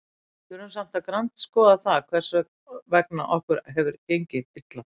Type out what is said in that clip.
Við þurfum samt að grandskoða það hvers vegna okkur hefur gengið illa.